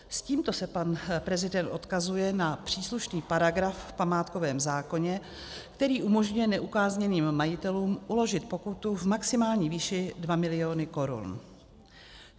S tímto se pan prezident odkazuje na příslušný paragraf v památkovém zákoně, který umožňuje neukázněným majitelům uložit pokutu v maximální výši 2 miliony korun.